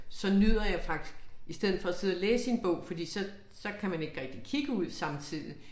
Så nyder jeg faktisk i stedet for at sidde og læse i en bog fordi så så kan man ikke rigtig kigge ud samtidig